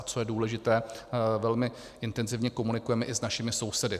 A co je důležité, velmi intenzivně komunikujeme i s našimi sousedy.